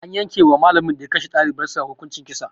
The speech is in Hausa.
An yankewa malamin da ya kashe dalibar sa hukuncin kisa